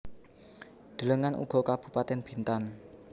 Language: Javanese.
Delengen uga Kabupatèn Bintan